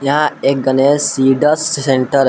यहां एक Ganesh seeds centre --